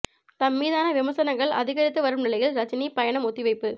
தம் மீதான விமர்சனங்கள் அதிகரித்து வரும் நிலையில் ரஜினி பயணம் ஒத்திவைப்பு